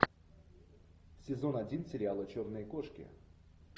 сезон один сериала черные кошки